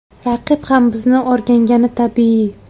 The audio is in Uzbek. Raqib ham bizni o‘rgangani tabiiy.